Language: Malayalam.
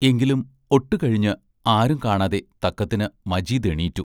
എങ്കിലും ഒട്ടുകഴിഞ്ഞ് ആരും കാണാതെ തക്കത്തിന് മജീദ് എണീറ്റു.